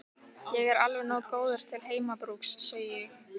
Ég er alveg nógu góður til heimabrúks, segi ég.